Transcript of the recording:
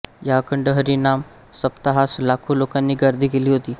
या अखंड हरिनाम सप्ताहास लाखो लोकांनी गर्दी केली होती